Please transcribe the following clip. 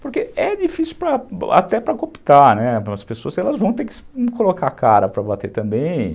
Porque é difícil até para cooptar, as pessoas vão ter que colocar a cara para bater também.